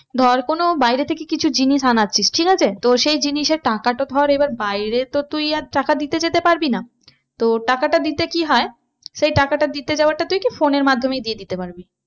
ধর কোনো বাইরে থেকে কিছু জিনিস আনাছিস ঠিক আছে তো সেই জিনিস এ টাকাটা ধর এবার বাইরে তো তুই আর টাকা দিতে যেতে পারবি না। তো টাকাটা দিতে কি হয় সেই টাকাটা দিতে যাওয়াটা তুই কি phone এর মাধ্যমেই দিয়ে দিতে পারবি।